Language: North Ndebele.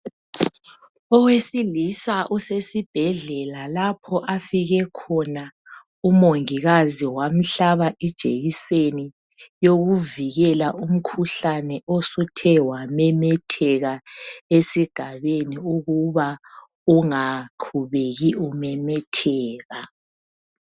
Owesilisa usesibhedlela lapho afike khona umongikazi wamhlaba ijekiseni yokuvikela umkhuhlane osuthe wamemetheka esigabeni ukuba ungaqhubeki umemetheka.